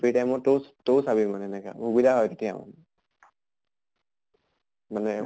free time ত তয়ো তয়ো চাবি মানে এনেকা, সুবিধা হয় তেতিয়া। মানে